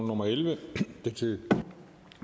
nummer elleve til